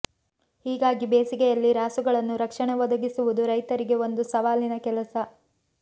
ಹೀಗಾಗಿ ಬೇಸಿಗೆಯಲ್ಲಿ ರಾಸುಗಳನ್ನು ರಕ್ಷಣೆ ಒದಗಿಸುವುದು ರೈತರಿಗೆ ಒಂದು ಸವಾಲಿನ ಕೆಲಸ